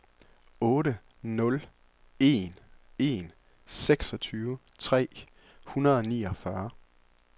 otte nul en en seksogtyve tre hundrede og niogfyrre